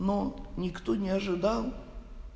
ну никто не ожидал